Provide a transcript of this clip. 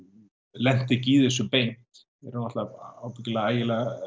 lentu ekki í þessu beint eru